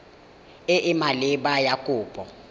e e maleba ya kopo